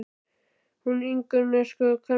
Hún Ingunn, það er sko kvenmaður!